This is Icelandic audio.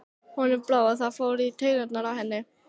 Honum brá, og það fór í taugarnar á henni.